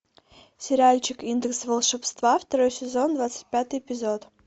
сериальчик индекс волшебства второй сезон двадцать пятый эпизод